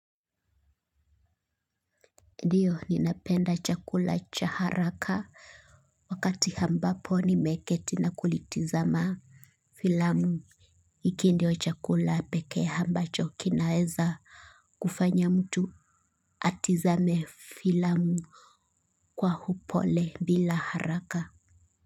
Ndiyo ninapenda chakula cha haraka wakati ambapo nimeketi na kulitizama filamu. Hiki ndio chakula pekee ambacho kinaweza kufanya mtu atizame filamu kwa upole bila haraka.